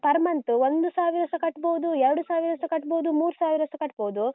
Per month ಒಂದು ಸಾವಿರಸ ಕಟ್ಬೋದು, ಎರಡು ಸಾವಿರಸ ಕಟ್ಬೋದು, ಮೂರು ಸಾವಿರಸ ಕಟ್ಬೋದು.